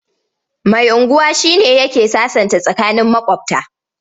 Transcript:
Mai unguwa shi ne yake sasanta tsakanin maƙwabta.